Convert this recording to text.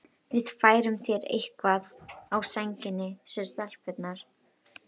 Við færum þér eitthvað á sængina, sögðu stelpurnar.